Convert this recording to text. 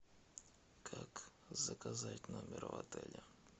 как заказать номер в отеле